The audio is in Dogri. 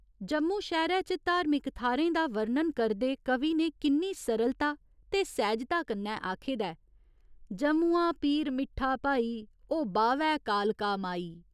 जम्मू शैह्‌रै च धार्मिक थाह्‌रें दा वर्णन करदे कवि ने किन्नी सरलता ते सैह्जता कन्नै आखे दा जम्मुआ पीरमिट्ठा भाई ओ बाह्‌वै कालका माई।